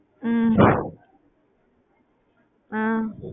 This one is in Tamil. ஹம் அஹ்